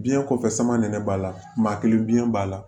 Biɲɛ kɔfɛ sama nin ne b'a la maa kelen biɲɛ b'a la